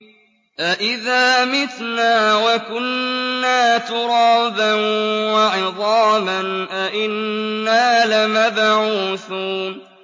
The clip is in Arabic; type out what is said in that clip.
أَإِذَا مِتْنَا وَكُنَّا تُرَابًا وَعِظَامًا أَإِنَّا لَمَبْعُوثُونَ